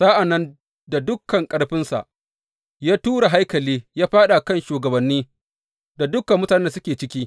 Sa’an nan da dukan ƙarfinsa ya tura haikali ya fāɗa a kan shugabanni da dukan mutanen da suke ciki.